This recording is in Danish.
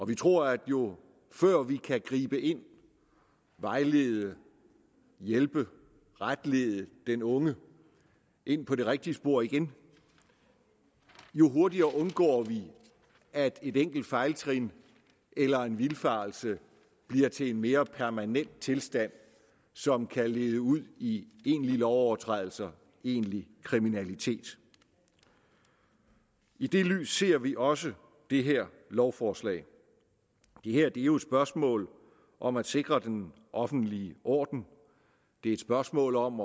vi tror at jo før vi kan gribe ind og vejlede hjælpe retlede den unge ind på det rigtige spor igen jo hurtigere undgår vi at et enkelt fejltrin eller en vildfarelse bliver til en mere permanent tilstand som kan lede ud i egentlige lovovertrædelser i egentlig kriminalitet i det lys ser vi også det her lovforslag det her er jo et spørgsmål om at sikre den offentlige orden det er et spørgsmål om